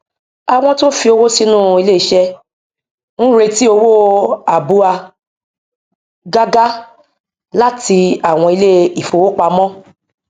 àwọn tí ó fi owó sínú ilé iṣẹ ń retí owó àbúa gágá láti àwọn ilé ifówopàmọ